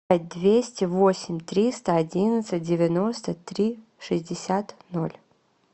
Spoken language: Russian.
двести восемь триста одиннадцать девяносто три шестьдесят ноль